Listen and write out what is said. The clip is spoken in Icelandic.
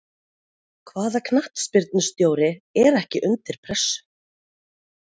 Hvaða knattspyrnustjóri er ekki undir pressu?